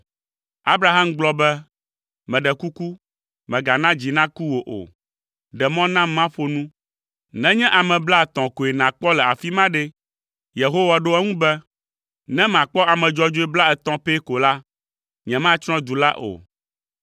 Abraham gblɔ be, “Meɖe kuku, mègana dzi naku wò o; ɖe mɔ nam maƒo nu. Nenye ame blaetɔ̃ koe nàkpɔ le afi ma ɖe?” Yehowa ɖo eŋu be, “Ne makpɔ ame dzɔdzɔe blaetɔ̃ pɛ ko la, nyematsrɔ̃ du la o.”